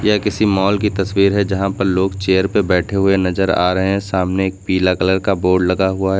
यह किसी मॉल की तस्वीर है यहां पर लोग चेयर पे बैठे हुए नजर आ रहे हैं सामने एक पीला कलर का बोर्ड लगा हुआ है।